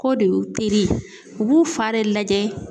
K'o de y'u teri u b'u fa de lajɛ.